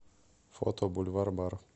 фото бульвар бар